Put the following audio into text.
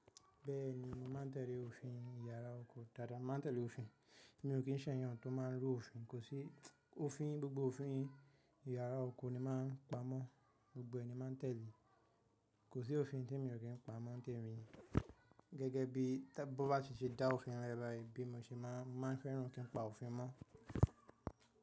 Bẹ́ẹ̀ni, mo máa ń tẹ̀lé òfin iyàrá oko dada mo máa ń tẹ̀lé òfin. Mi ò kí ń ṣẹ̀yàn tó máa ń rú òfin. Kò sí, òfin, gbogbo òfin iyàrá oko ni mo máa ń pa mọ́, gbogbo ẹ ni máa ń tẹ̀lé. Kò sí òfin temi ò kí ń pa mọ́, ń tẹ̀mi Gẹ́gẹ́ bí bá ṣe dá òfin lẹ ba yi, bí mo ṣe máa ń fẹ́ràn kí n pa òfin mọ́.